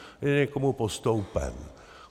Je někomu postoupen.